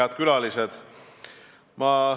Head külalised!